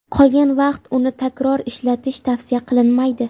Qolgan vaqt uni takror ishlatish tavsiya qilinmaydi.